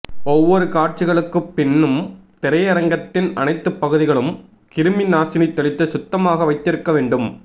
ஒவ்வொரு காட்சிகளுக்குப் பின்னும் திரையரங்கத்தின் அனைத்து பகுதிகளும் கிருமி நாசினி தெளித்து சுத்தமாக வைத்திருக்க வேண்டும்